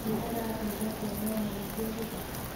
Nmũrathire kuona nyamũ cia gĩthaka?